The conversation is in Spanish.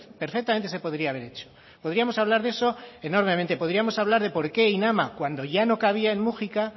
perfectamente se podría haber hecho podríamos hablar de eso enormemente podríamos hablar de por qué inama cuando ya no cabía en mujica